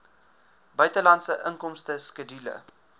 buitelandse inkomste skedule